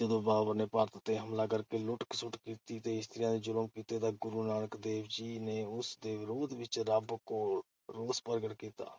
ਜਦੋਂ ਬਾਬਰ ਨੇ ਭਾਰਤ ਤੇ ਹਮਲਾ ਕਰਕੇ ਲੁੱਟ-ਖਸੁੱਟ ਕੀਤੀ ਤੇ ਇਸਤਰੀਆਂ ਤੇ ਜ਼ੁਲਮ ਕੀਤੇ ਤਾਂ ਗੁਰੂ ਨਾਨਕ ਦੇਵ ਜੀ ਨੇ ਉਸ ਦੇ ਵਿਰੋਧ ਵਿੱਚ ਰੱਬ ਕੋਲ ਰੋਸ ਪ੍ਰਗਟ ਕੀਤਾ।